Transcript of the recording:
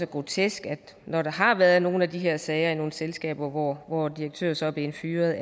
grotesk når der har været nogle af de her sager i nogle selskaber hvor hvor direktøren så er blevet fyret